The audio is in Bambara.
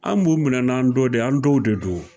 An b'u minɛ n'an dɔ de an dɔw de don o